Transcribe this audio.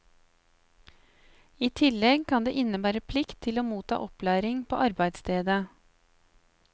I tillegg kan det innebære plikt til å motta opplæring på arbeidsstedet.